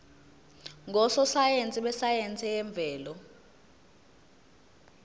ngososayense besayense yemvelo